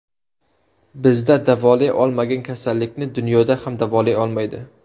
Bizda davolay olmagan kasallikni dunyoda ham davolay olmaydi.